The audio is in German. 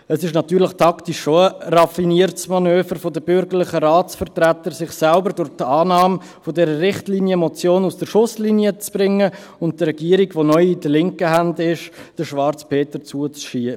Es ist natürlich taktisch schon ein raffiniertes Manöver der bürgerlichen Ratsvertreter, sich selbst durch die Annahme dieser Richtlinienmotion aus der Schusslinie zu bringen und der Regierung, die neu in linken Händen ist, den Schwarzen Peter zuzuschieben.